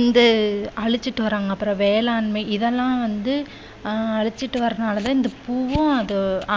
இந்த அழிச்சிட்டு வர்றாங்க. அப்புறம் வேளாண்மை இதெல்லாம் வந்த அஹ் அழிச்சிட்டு வர்றதுனால இந்த பூவும்